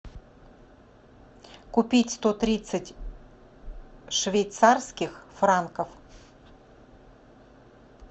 купить сто тридцать швейцарских франков